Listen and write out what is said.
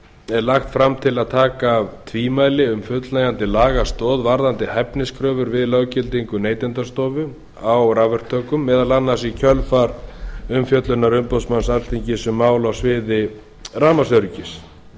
er lagt fram til að taka af tvímæli um fullnægjandi lagastoð varðandi hæfniskröfur við löggildingu neytendastofu á rafverktökum meðal annars í kjölfar umfjöllunar umboðsmanns alþingis um mál á sviði rafmagnsöryggis